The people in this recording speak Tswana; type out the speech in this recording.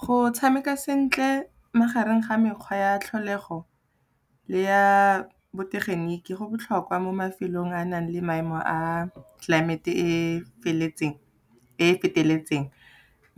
Go tshameka sentle magareng ga mekgwa ya tlholego le ya botegeniki go botlhokwa mo mafelong a nang le maemo a tlelaemete e e feteletseng,